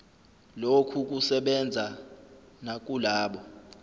lokhu kusebenza nakulabo